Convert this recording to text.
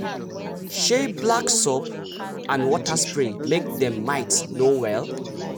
se black soap and water spray make dem mites no well.